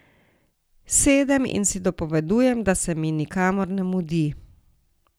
Sedem in si dopovedujem, da se mi nikamor ne mudi.